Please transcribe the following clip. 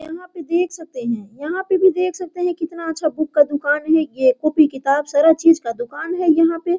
यहां पे देख सकते है यहां पे भी देख सकते है कितना अच्छा बुक का दुकान है ये कॉपी किताब सारा चीज का दुकान है ये यहाँ पे।